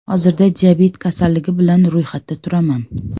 Hozirda diabet kasalligi bilan ro‘yxatda turaman.